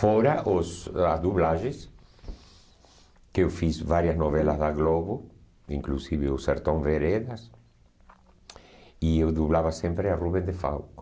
Fora os as dublagens, que eu fiz várias novelas da Globo, inclusive o Sertão Veredas, e eu dublava sempre a Rubem de Falco.